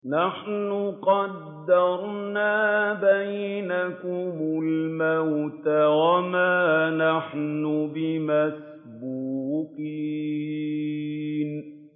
نَحْنُ قَدَّرْنَا بَيْنَكُمُ الْمَوْتَ وَمَا نَحْنُ بِمَسْبُوقِينَ